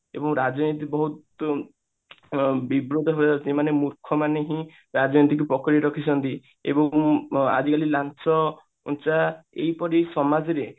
ଏବଂ ରାଜନୀତି ବହୁତ ଅ ବିବ୍ରତ ହେବାକୁ ମାନେ ମୂର୍ଖ ମାନଙ୍କୁ ହିଁ ରାଜନୀତିକୁ ପକଡି ରଖିଛନ୍ତି ଏବଂ ଅ ଆଜିକାଲି ଲାଞ୍ଚ ଏହିପରି ସମାଜ ରେ